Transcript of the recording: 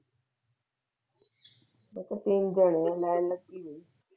ਉਹ ਤਾ ਤਿੰਨ ਜਾਣੇ ਹੈ ਮੈਂ ਗਈ।